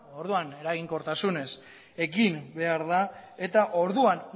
orduan eraginkortasunez egin behar da eta orduan